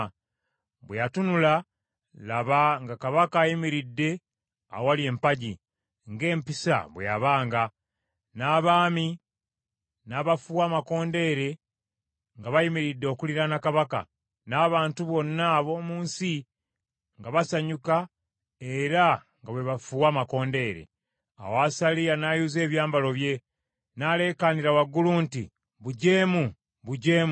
Bwe yatunula, laba, nga kabaka ayimiridde awali empagi, ng’empisa bwe yabanga, n’abaami n’abafuuwa amakondeere nga bayimiridde okuliraana kabaka, n’abantu bonna ab’omu nsi nga basanyuka era nga bwe bafuuwa amakondeere. Awo Asaliya n’ayuza ebyambalo bye, n’aleekaanira waggulu nti, “Bujeemu, bujeemu!”